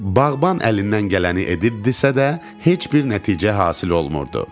Bağban əlindən gələni edirdisə də, heç bir nəticə hasil olmurdu.